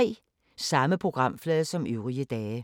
Samme programflade som øvrige dage